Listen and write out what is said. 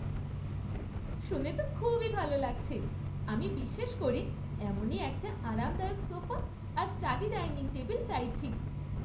শুনে তো খুবই ভালো লাগছে! আমি বিশেষ করে এমনই একটা আরামদায়ক সোফা আর স্টাডি ডাইনিং টেবিল চাইছি।